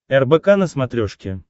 рбк на смотрешке